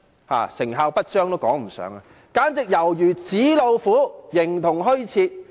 連成效不彰也說不上，簡直猶如紙老虎，形同虛設。